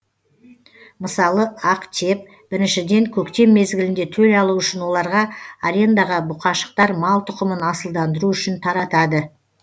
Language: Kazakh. мысалы актеп біріншіден көктем мезгілінде төл алу үшін оларға арендаға бұқашықтар мал тұқымын асылдандыру үшін таратады